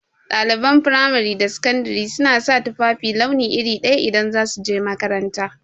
Ɗaliban fimari da sakandari suna sa tufafi launi iri daya idan za su je makaranta